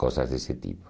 Coisas desse tipo.